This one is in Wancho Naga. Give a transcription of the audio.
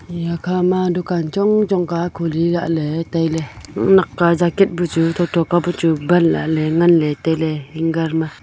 hiya khama dukan chongchong ka khuli lahley tailey nak ka jacket bu chu thotho bu chu ban lahley ngan lahley tailey hanger ma .